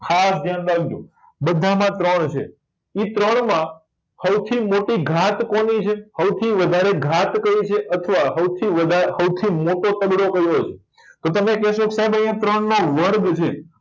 ખાસ ધ્યાન રાખજો બધા માં ત્રણ છે એ ત્રણ માં હૌથી મોટી ગાત કોની છે હૌથી મોટી ગાત કઈ છે અથવા હૌથી વધાર હૌથી મોટો તગડો કયો છે તો તમે કહેશો કે સાહેબ અહિયાં ત્રણ નો વર્ગ છે